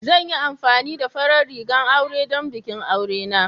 Zan yi amfani da farar rigar aure don bikin aure na.